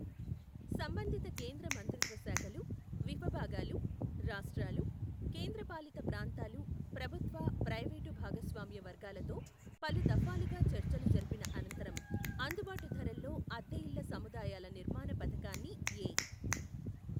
సంబంధిత కేంద్ర మంత్రిత్వ శాఖలు, విఫభాగాలు, రాష్ట్రాలు, కేంద్ర పాలిత ప్రాంతాలు, ప్రభుత్వ, ప్రైవేటు భాగస్వామ్య వర్గాలతో పలుదఫాలుగా చర్చలు జరిపిన అనంతరం అందుబాటు ధరల్లో అద్దెఇళ్ల సముదాయాల నిర్మాణ పథకాన్ని ఎ.